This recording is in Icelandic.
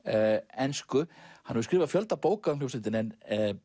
ensku hann hefur skrifað fjölda bóka um hljómsveitina en